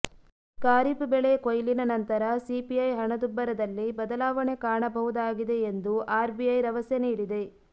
ಖಾರೀಫ್ಬೆಳೆ ಕೊಯ್ಲಿನ ನಂತರ ಸಿಪಿಐ ಹಣದುಬ್ಬರದಲ್ಲಿ ಬದಲಾವಣೆ ಕಾಣಬಹುದಾಗಿದೆ ಎಂದು ಆರ್ ಬಿಐ ರವಸೆ ನೀಡಿದೆ